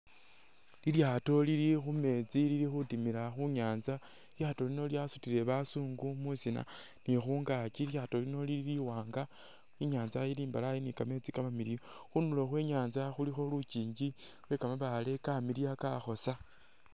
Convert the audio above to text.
Lilyaato lili khu meetsi lili khu khutimila khu nyaanza, lilyaato lino lyasutile basungu mwisina ni khungaaki. Lilyaato lino lili liwaanga, I'nyaanza ili imbalayi ni kameetsi kamamiliyu, khunulo khwe i'nyaanza khulikho lukiingi lwe kamabaale kamiliya kakhosa.